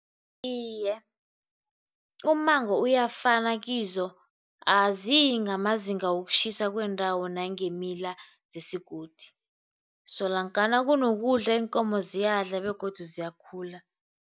Iye, ummango kuyafana kizo. Aziyi ngamazinga wokutjhisa kwendawo nangemila zesigodi, solonkana kunokudla iinkomo ziyadlala begodu ziyakhula.